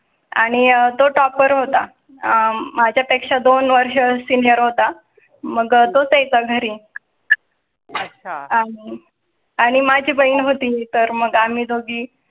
आणि तो toper होता. अं माझ्या पेक्षा दोन वर्ष senior होता. मग तो च्या घरी आणि माझी बहीण होती तर मग आम्ही दोघी.